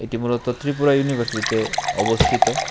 এটি মূলত ত্রিপুরা ইউনিভার্সিটিতে অবস্থিত।